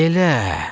Elə?